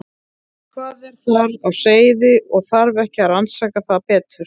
Hvað er þar á seyði og þarf ekki að rannsaka það betur?